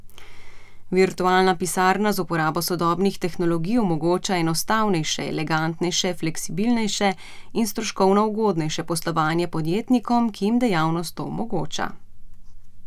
Virtualna pisarna z uporabo sodobnih tehnologij omogoča enostavnejše, elegantnejše, fleksibilnejše in stroškovno ugodnejše poslovanje podjetnikom, ki jim dejavnost to omogoča.